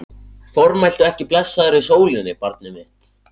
Formæltu ekki blessaðri sólinni, barnið mitt.